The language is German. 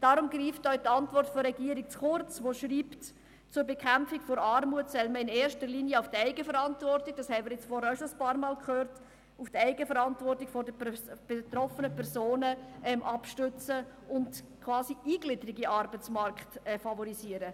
Darum greift auch die Antwort der Regierung zu kurz, die schreibt, zur Bekämpfung der Armut solle man in erster Linie auf die Eigenverantwortung – das haben wir nun vorhin schon einige Male gehört – der betroffenen Personen setzen und quasi die Eingliederung in den Arbeitsmarkt favorisieren.